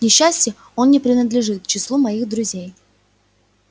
к несчастью он не принадлежит к числу моих друзей